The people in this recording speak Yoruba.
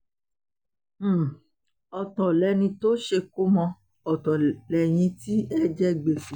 um ọ̀tọ̀ lẹni tó ṣèkómọ́ ọ̀tọ̀ lẹ́yìn tí ẹ jẹ gbèsè